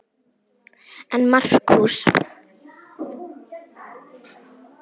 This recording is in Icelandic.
En Markús